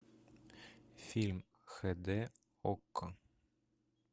фильм хэ дэ окко